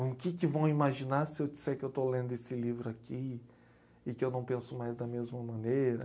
O que que vão imaginar se eu disser que eu estou lendo esse livro aqui e que eu não penso mais da mesma maneira?